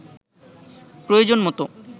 প্রয়োজন মতো